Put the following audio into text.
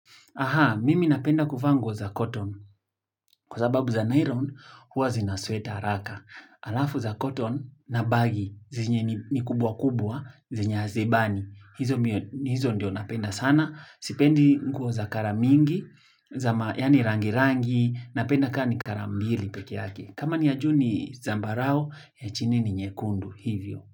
Aha, mimi napenda kuvaa nguo za cotton. Kwa sababu za nylon, huwa zinasweat haraka. Alafu za cotton na bagi, zenye ni kubwa kubwa, zenye hazibani. Hizo ndio napenda sana. Sipendi nguo za kara mingi, zama yani rangirangi, napenda kaa ni kara mbili pekee yake. Kama ni ya juu ni zambarao, ya chini ni nyekundu hivyo.